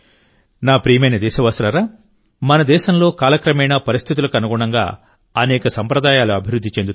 నా ప్రియమైన దేశవాసులారా మన దేశంలోకాలక్రమేణాపరిస్థితులకు అనుగుణంగాఅనేక సంప్రదాయాలు అభివృద్ధి చెందుతాయి